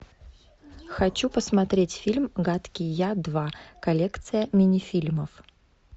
хочу посмотреть фильм гадкий я два коллекция мини фильмов